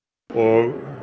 og